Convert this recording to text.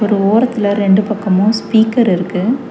ஒரு ஓரத்துல ரெண்டு பக்கமு ஸ்பீக்கர் இருக்கு.